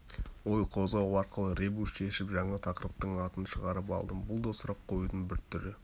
ой қозғау арқылы ребус шешіп жаңа тақырыптың атын шығарып алдым бұл да сұрақ қоюдың бір түрі